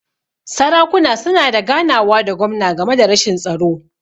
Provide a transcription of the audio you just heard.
Sarakuna suna da ganawa da gwamna game da rashin tsaro.